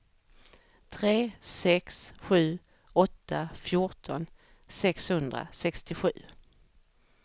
tre sex sju åtta fjorton sexhundrasextiosju